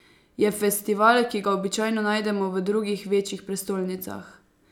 Je festival, ki ga običajno najdemo v drugih večjih prestolnicah.